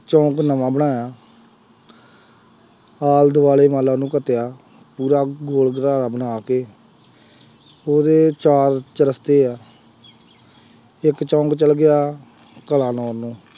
ਚੌਂਕ ਨਵਾਂ ਬਣਾਇਆ ਆਲ ਦੁਆਲੇ ਮੰੰਨ ਲਾ ਉਹਨੂੰ ਢੱਕਿਆ। ਪੂਰਾ ਗੋਲ ਘੇਰਾ ਬਣਾ ਕੇ, ਉਹਦੇ ਚਾਰ ਚੁਰਸਤੇ ਆ, ਇੱਕ ਚੌਂਕ ਚੱਲ ਗਿਆ ਕਲਾਨੌਰ ਨੂੰ,